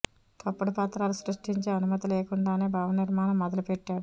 తప్పుడు పత్రాలు సృష్టించి అనుమతి లేకుండానే భవన నిర్మాణం మొదలు పెట్టాడు